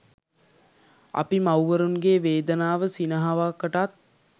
අපි මව්වරුන්ගේ වේදනාව සිනහවකටත්